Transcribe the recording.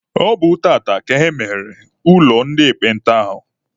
Ọ bụ tata ka emeghere ụlọ ndị ekpenta ahụ.